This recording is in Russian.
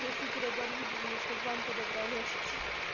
где супер оборудование чтоб вам подобрали очки